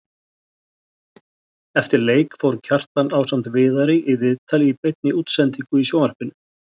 Eftir leik fór Kjartan ásamt Viðari í viðtal í beinni útsendingu í sjónvarpinu.